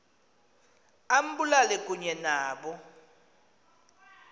ambulale kunye nabo